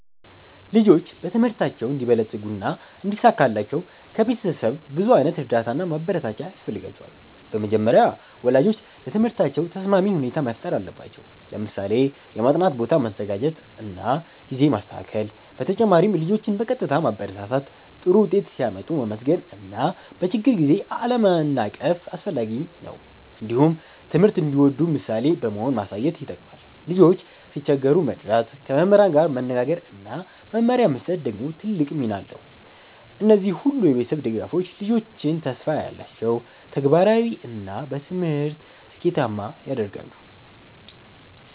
ልጆች በትምህርታቸው እንዲበለጽጉና እንዲሳካላቸው ከቤተሰብ ብዙ ዓይነት እርዳታ እና ማበረታቻ ያስፈልጋቸዋል። በመጀመሪያ ወላጆች ለትምህርታቸው ተስማሚ ሁኔታ መፍጠር አለባቸው፣ ለምሳሌ የማጥናት ቦታ ማዘጋጀት እና ጊዜ ማስተካከል። በተጨማሪም ልጆችን በቀጥታ ማበረታታት፣ ጥሩ ውጤት ሲያመጡ ማመስገን እና በችግር ጊዜ አለመናቀፍ አስፈላጊ ነው። እንዲሁም ትምህርት እንዲወዱ ምሳሌ በመሆን ማሳየት ይጠቅማል። ልጆች ሲቸገሩ መርዳት፣ ከመምህራን ጋር መነጋገር እና መመሪያ መስጠት ደግሞ ትልቅ ሚና አለው። እነዚህ ሁሉ የቤተሰብ ድጋፎች ልጆችን ተስፋ ያላቸው፣ ተግባራዊ እና በትምህርት ስኬታማ ያደርጋሉ።